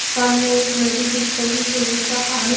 सामने एक नदी दिख रही है जिसका पानी --